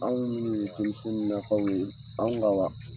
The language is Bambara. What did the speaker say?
Anw minnu ye denmisɛnninakaw ye, anw ka wa